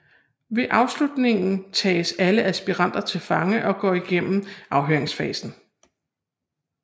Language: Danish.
Ved afslutningen tages alle aspiranter til fange og går igennem afhøringsfasen